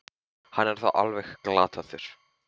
Hann er þá ekki alveg glataður!